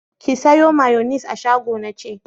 Ki sayo mayonis a shago na ce!